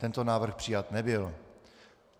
Tento návrh přijat nebyl.